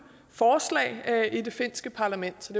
forslag i det finske parlament så